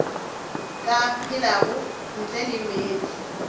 ka phelago ntle le meetse